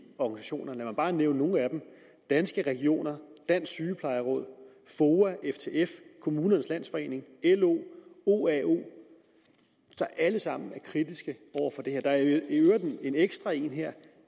organisationer lad mig bare nævne nogle af dem danske regioner dansk sygeplejeråd foa ftf kommunernes landsforening lo oao er alle sammen kritiske over for det her der er i øvrigt en ekstra her